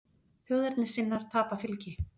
Þjóðernissinnar tapa fylgi